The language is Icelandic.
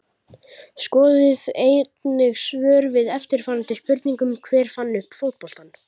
Skoðið einnig svör við eftirfarandi spurningum Hver fann upp fótboltann?